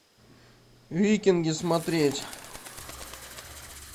викинги смотреть